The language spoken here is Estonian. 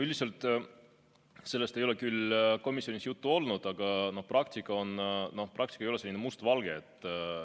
Üldiselt sellest komisjonis küll juttu ei olnud, aga praktika ei ole selline mustvalge.